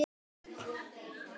Ný stofnun er okkur gefin.